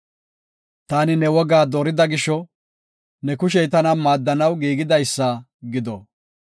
Taani ne wogaa doorida gisho, ne kushey tana maaddanaw giigidaysa gido.